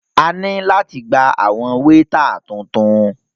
A ní láti gba àwọn wéétà tuntun.